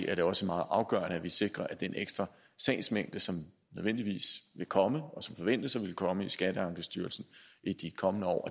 er det også meget afgørende at vi sikrer at den ekstra sagsmængde som nødvendigvis vil komme og som forventes at ville komme i skatteankestyrelsen i de kommende år